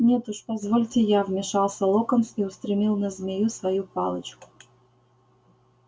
нет уж позвольте я вмешался локонс и устремил на змею свою палочку